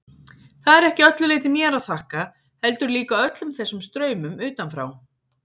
Það er ekki að öllu leyti mér að þakka, heldur líka öllum þessum straumum utanfrá.